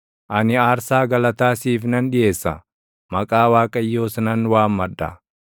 Ani aarsaa galataa siif nan dhiʼeessa; maqaa Waaqayyoos nan waammadha.